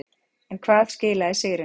En hvað skilaði sigrinum.